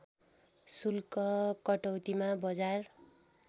शुल्क कटौतीमा बजार